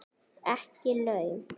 Ekki laun.